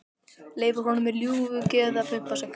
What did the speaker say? Leyfir honum með ljúfu geði að pumpa sig.